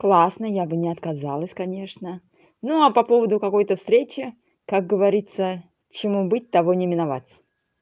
классно я бы не отказалась конечно ну а по поводу какой-то встречи как говорится чему быть того не миновать